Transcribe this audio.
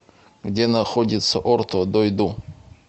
где находится орто дойду